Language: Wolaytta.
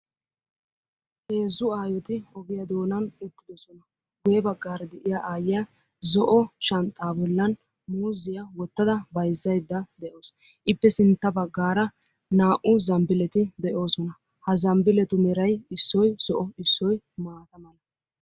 Heezzu aayyoti ogiya doonan uttidoosona. Guyye baggaara de'iyaa aaytiya zo'o shanxxa bollan muuziya wottada bayzzaudda de'awus. Ippe sintta baggaara naa"u zambbileti de'oosona. Ha zamnniletu meray issoy zo'o, issoy maata mala.